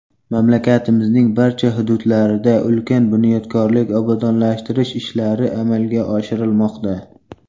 Mamlakatimizning barcha hududlarida ulkan bunyodkorlik, obodonlashtirish ishlari amalga oshirilmoqda.